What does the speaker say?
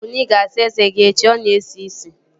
Ịwụ bụ na ị ga-asa eze gị echi! Ọ na-esi ísì